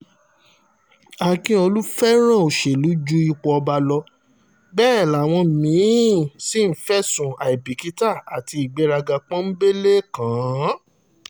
akíọ̀lù fẹ́ràn òṣèlú ju ipò ọba lọ bẹ́ẹ̀ làwọn mí-ín sì fẹ̀sùn àìbìkítà àti ìgbéraga pọ́nńbélé kàn án